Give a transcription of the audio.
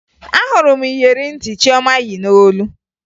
Ahụrụ m iyeri ntị Chioma yi n'olu